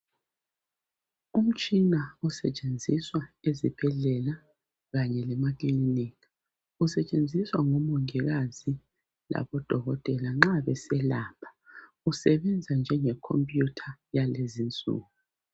Umtshina osetshenziswa ezibhedlela kanye lemaclinika usetshenziswa ngomongikazi kanye labodokotela nxa beselapha usenza njengecomputer yalezi insuku